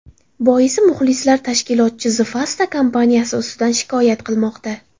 Boisi, muxlislar tashkilotchi The Fasta kompaniyasi ustidan shikoyat qilmoqda.